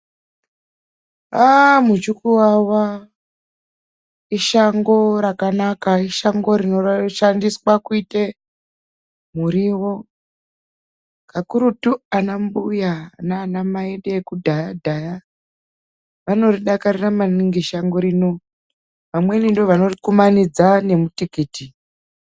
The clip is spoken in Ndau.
Aaah ,muchukuwawa ishango rakanaka. Ishango rinoshandiswa kuite muriwo kakurutu ana mbuya, naanamai edu vekudhayadhaya. Vanoridakarira maningi shango rino. Vamweni ndivo vanorikumanidza nemutikiti.